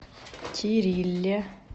кирилле